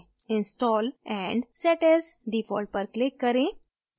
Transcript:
install and set as default पर click करें